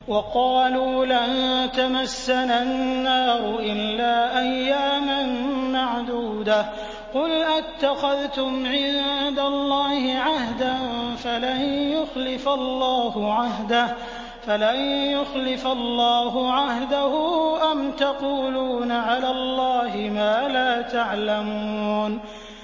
وَقَالُوا لَن تَمَسَّنَا النَّارُ إِلَّا أَيَّامًا مَّعْدُودَةً ۚ قُلْ أَتَّخَذْتُمْ عِندَ اللَّهِ عَهْدًا فَلَن يُخْلِفَ اللَّهُ عَهْدَهُ ۖ أَمْ تَقُولُونَ عَلَى اللَّهِ مَا لَا تَعْلَمُونَ